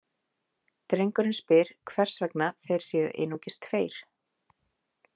Drengurinn spyr hvers vegna þeir séu einungis tveir.